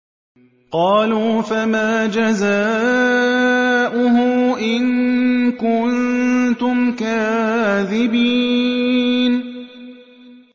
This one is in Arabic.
قَالُوا فَمَا جَزَاؤُهُ إِن كُنتُمْ كَاذِبِينَ